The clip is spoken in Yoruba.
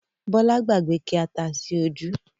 Bọlá gbàgbé ki ata sí ojú